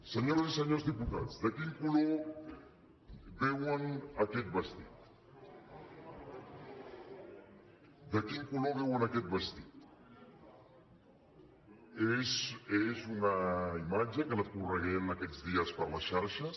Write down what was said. senyores i senyors diputats de quin color veuen aquest vestit de quin color veuen aquest vestit és una imatge que ha anat corrent aquests dies per les xarxes